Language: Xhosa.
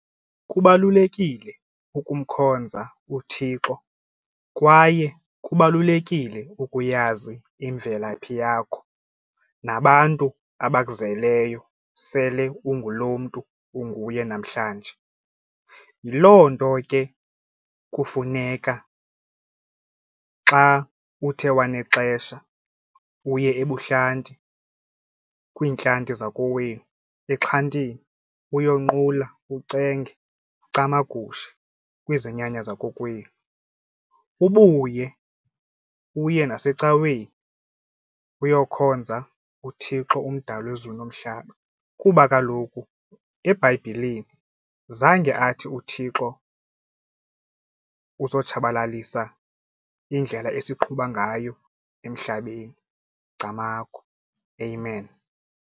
Kubalulekile ukumkhonza uThixo kwaye kubalulekile ukuyazi imvelaphi yakho nabantu abakuzeleyo sele ungulo mntu unguye namhlanje. Yiloo nto ke kufuneka xa uthe wanexesha uye ebuhlanti kwiintlanti zakowenu exhantini uyonqula ucenge ucamagushe kwizinyanya zakokwenu, ubuye uye nasecaweni uyokhonza uThixo umdali wezulu nomhlaba kuba kaloku eBhayibhileni zange athi uThixo uzotshabalalisa indlela esiqhubayo ngayo emhlabeni. Camagu, Amen.